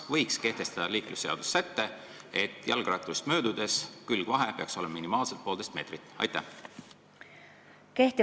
Kas võiks kehtestada liiklusseaduses sätte, et jalgratturist möödudes peaks külgvahe olema minimaalselt poolteist meetrit?